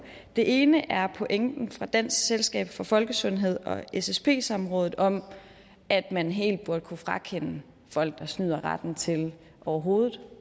den ene ting er pointen fra dansk selskab for folkesundhed og ssp samrådet om at man helt burde kunne frakende folk der snyder retten til overhovedet